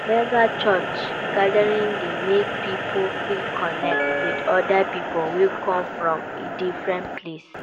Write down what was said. Mega church gatherings de make pipo fit connect with other pipo wey come from a different place